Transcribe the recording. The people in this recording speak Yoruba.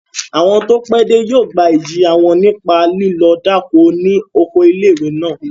Àwọn tó pẹ́ dé yóò gba ìjìyà wọn nípa lílọ dáko ni oko ilé-ìwé náà